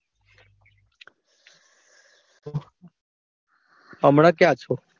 હમણાં ક્યાં છો.